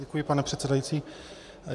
Děkuji, pane předsedající.